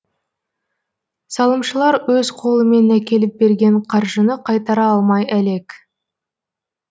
салымшылар өз қолымен әкеліп берген қаржыны қайтара алмай әлек